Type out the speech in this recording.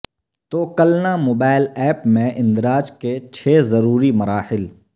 توکلنا mobile app میں اندراج کے چھ ضروری مراحل